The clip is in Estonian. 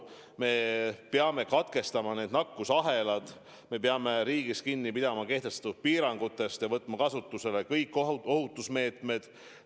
Me peame katkestama nakkusahelad, me peame riigis kinni pidama kehtestatud piirangutest ja võtma kasutusele kõik ohutusmeetmed.